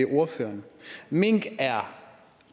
ordføreren mink er